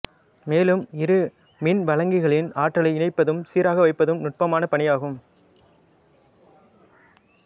மேலும் இரு மின்வழங்கிகளின் ஆற்றலை இணைப்பதும் சீராக வைப்பதும் நுட்பமான பணியாகும்